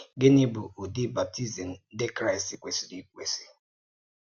Gínị̀ bụ̀ ùdí baptizim ǹdí Kraịst kwèsìrì èkwèsì?